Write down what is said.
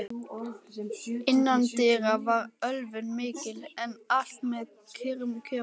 Innandyra var ölvun mikil, en allt með kyrrum kjörum.